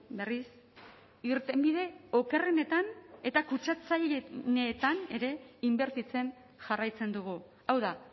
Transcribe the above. berriz irtenbide okerrenetan eta kutsatzaileenetan ere inbertitzen jarraitzen dugu hau da